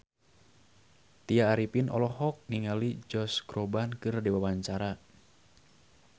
Tya Arifin olohok ningali Josh Groban keur diwawancara